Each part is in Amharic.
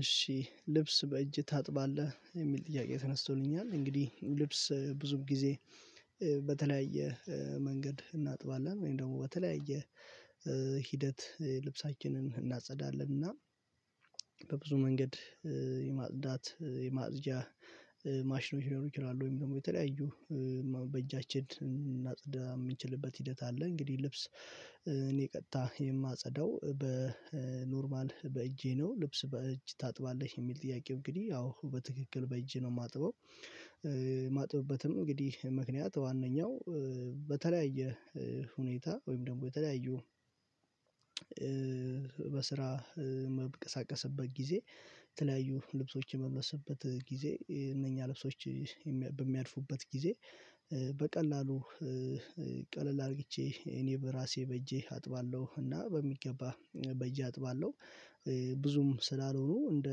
እሺ ልብስ በእጅ ታጥባለህ የሚል ጥያቄ ተነስቶልኛል እንግዲህ ልብስ ብዙ ጊዜ በተለያየ መንገድ እናጥባለን ወይም ደግሞ በተለያየ ሂደት ልብሳችንን እናጸዳለን እና በብዙ መንገድ የማጽዳት የማፅጃ ማሽኖች ሊኖሩ ይችላሉ ወይም ደግሞ የተለያዩ በእጃችን እንድናፀዳ የምንችልበት ሂደት አለ። እንግዲህ ልብስ እኔ ቀጥታ የማጸዳው በኖርማል በእጄ ነው። ልብስ በእጅ ታጥባለህ የሚል ጥያቄው እንግዲህ አዎ በትክክል በእጄ ነው የማጥበው። የማጥበበትም እንግዲህ ምክንያት ዋናው በተለያየ ሁኔታ ወይም ደግሞ የተለያዩ በስራ መብቀሳቀስበት ጊዜ የተለያዩ ልብሶች የመመስበት ጊዜ እነኛ ልብሶች በሚያልፉበት ጊዜ በቀላሉ ቀለል አርግቼ እኔ በራሴ በእጄ አጥባለሁ። እና በሚገባ በእጄ አጥባለሁ ብዙም ስላልሆኑ እንደ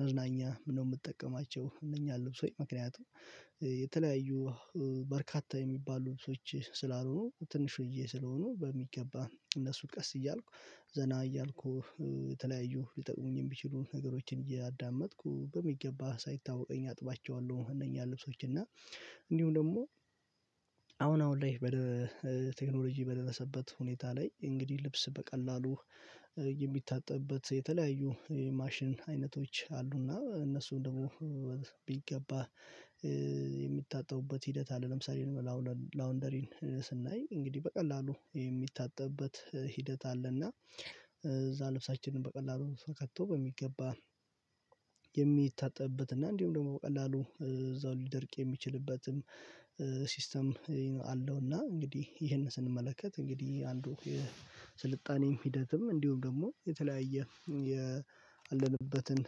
መዝናኛ ነው የምጠቀማቸው እነኛን ልብሶች ምክንያቱም የተለያዩ በርካታ የሚባሉ ልብሶች ስላልሆኑ ትንሽዬ ስለሆኑ በሚገባ እነሱ ቀስ እያልኩ ዘና እያልኩ የተለያዩ ሊጠቅሙኝ የሚችሉ ነገሮችን እያዳመጥኩ በሚገባ ሳይታወቀኝ አጥባቸዋለሁ። እነኛን ልብሶች እና እንዲሁም ደግሞ አሁን አሁን ላይ ቴክኖሎጂ በደረሰበት ሁኔታ ላይ እንግዲህ ልብስ በቀላሉ የሚታጠብበት የተለያዩ የማሽን አይነቶች አሉና እነሱን ደግሞ ቢገባ የሚታጠቡበት ሂደት አለ። ለምሳሌ ላውንደሪን ስናይ እንግዲህ በቀላሉ የሚታጠብበት ሂደት አለ እና እዛ ልብሳችንን በቀላሉ ከቶ በሚገባ የሚታጠብበት እና እንዲሁም ደግሞ በቀላሉ እዛው ሊደርቅ የሚችልበትም ሲስተም አለውና። እንግዲህ ይሄንን ስንመለከት እንግዲህ አንዱ የስልጣኔም ሂደትም እንዲሁም ደግሞ የተለያየ ያለንበትን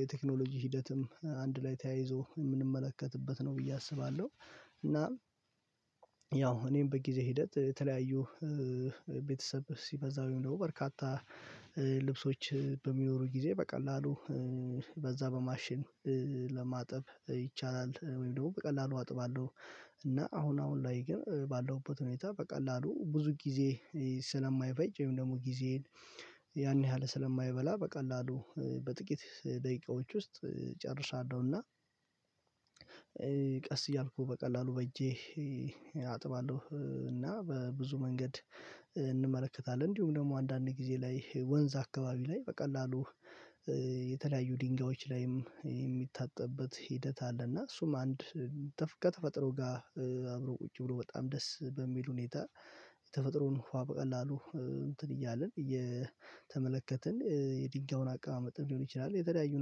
የቴክኖሎጂ ሂደትም አንድ ላይ ተያይዞ የምንመለከትበት ነው ብዬ አስባለሁ። እና ያው እኔም በጊዜ ሂደት የተለያዩ ቤተሰብ ሲበዛ ወይም ደግሞ በርካታ ልብሶች በሚኖሩ ጊዜ በቀላሉ በዛ በማሽን ለማጠብ ይቻላል። ወይም ደግሞ በቀላሉ አጥባለሁ እና አሁን አሁን ላይ ግን ባለሁበት ሁኔታ በቀላሉ ብዙ ጊዜ ስለማይፈጅ ወይም ደግሞ ጊዜዬን ያን ያህል ስለማይበላ በቀላሉ በጥቂት ደቂቃዎች ውስጥ ጨርሳለሁና። ቀስ እያልኩ በቀላሉ በእጄ አጥባለሁ እና በብዙ መንገድ እንመለከታለን እንዲሁም ደግሞ አንዳንድ ጊዜ ላይ ወንዝ አካባቢ ላይ በቀላሉ የተለያዩ ድንጋዮች ላይም የሚታጠብበት ሂደት አለ። እና እሱም አንድ ከተፈጥሮ ጋር አብሮ ቁጭ ብሎ በጣም ደስ በሚል ሁኔታ የተፈጥሮን ውሃ በቀላሉ እንትን እያልን እየተመለከትን የድንጋዩን አቀማመጥም ሊሆን ይችላል። የተለያዩ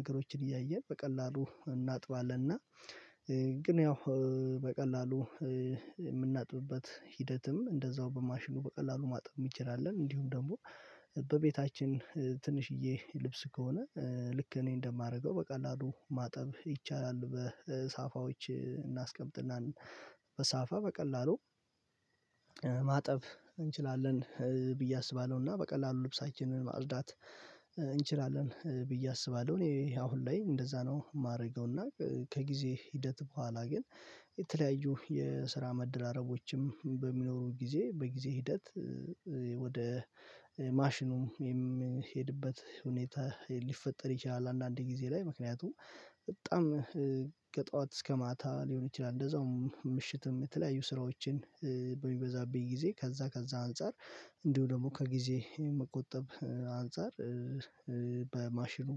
ነገሮችን እያየን በቀላሉ እናጥባለን እና ግን ያው በቀላሉ የምናጥብበት ሂደትም እንደዛው በማሽኑ በቀላሉ ማጠብ እንችላለን። እንዲሁም ደግሞ በቤታችን ትንሽዬ ልብስ ከሆነ ልክ እኔ እንደማደርገው በቀላሉ ማጠብ ይቻላል በሳፋዎች እናስቀምጥና በሳፋ በቀላሉ ማጠብ እንችላለን ብዬ አስባለሁና በቀላሉ ልብሳችንን ማጽዳት እንችላለን ብዬ አስባለሁ። እኔ ይሄ አሁን ላይ እንደዛ ነው የማደርገው። እና ከጊዜ ሂደት በኋላ ግን የተለያዩ የስራ መደራረቦችም በሚኖሩት ጊዜ በጊዜ ሂደት ወደ ማሽኑም የምሄድበት ሁኔታ ሊፈጠር ይችላል። አንዳንዴ ጊዜ ላይ ምክንያቱም በጣም ከጠዋት እስከ ማታ ሊሆን ይችላል እንደዛው ምሽትም የተለያዩ ስራዎችን በሚበዛብኝ ጊዜ ከዛ ከዛ አንፃር እንዲሁ ደግሞ ከጊዜ የመቆጠብ አንፃር በማሽኑ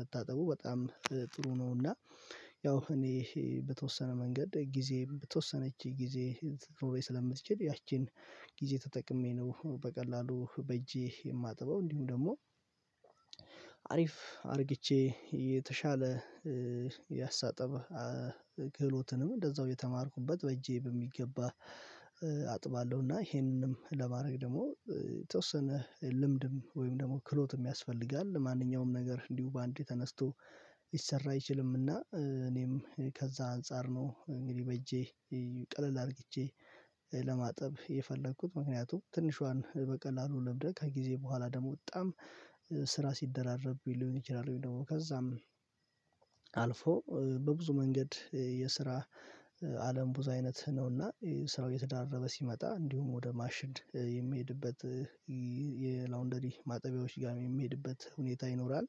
መታጠቡ በጣም ጥሩ ነው። እና ያው እኔ በተወሰነ መንገድ ጊዜ በተወሰነች ጊዜ ልትኖረኝ ስለምትችል ያቺን ጊዜ ተጠቅሜ ነው በቀላሉ በእጄ የማጥበው። እንዲሁ ደግሞ አሪፍ አርግቼ የተሻለ ያስተጣጠብ እንደዛው እየተማርኩበት በእጄ በሚገባ አጥባለሁ። እና ይሄንንም ለማድረግ ደግሞ የተወሰነ ልምድም ወይም ደግሞ ክህሎትም ያስፈልጋል ማንኛውም ነገር እንዲሁ በአንዴ ተነስቶ ሊሰራ አይችልምና። እኔም ከዛ አንፃር ነው እንግዲህ በእጄ ቀለል አርግቼ ለማጠብ የፈለኩት ምክንያቱም ትንሿን በቀላሉ ለምደህ ከጊዜ በኋላ ደግሞ በጣም ስራ ሲደራረብ ሊሆን ይችላል። ወይ ደግሞ ከዛም አልፎ በብዙ መንገድ የስራ አለም ብዙ አይነት ነውና ስራው እየተደራረበ ሲመጣ እንዲሁም ወደ ማሽን የሚሄድበት የላውንደሪ ማጠቢያዎች ጋር የሚሄድበት ሁኔታ ይኖራል።